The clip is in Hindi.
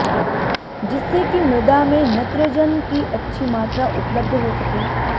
जिससे कि मृदा में नत्रजन की अच्छी मात्रा उपलब्ध हो सके